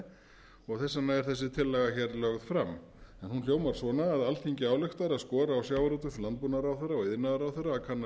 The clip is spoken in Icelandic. þess vegna er þessi tillaga lögð fram en hún hljóðar svona alþingi ályktar að skora á sjávarútvegs og landbúnaðarráðherra og iðnaðarráðherra að kanna